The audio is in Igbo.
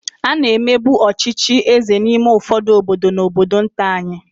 A na-emebu ọchịchị eze n'ime ụfọdụ obodo na obodo nta anyị.